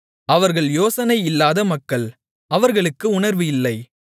அவர்கள் யோசனை இல்லாத மக்கள் அவர்களுக்கு உணர்வு இல்லை